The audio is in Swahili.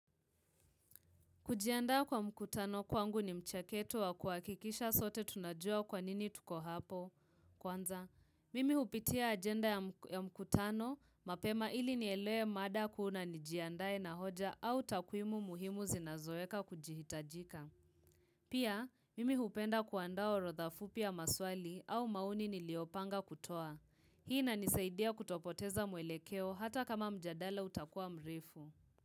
Kujiandaa kwa mkutano kwangu ni mcheketo wa kuakikisha sote tunajua kwanini tuko hapo. Kwanza, mimi upitia agenda ya mkutano, mapema ili nielewe mada kuu na nijiandae na hoja au takwimu muhimu zinazoeka kujihitajika. Pia, mimi upenda kuandaa orotha fupi ya maswali au maoni niliopanga kutoa. Hii inanisaidia kutopoteza mwelekeo hata kama mjadala utakua mrefu.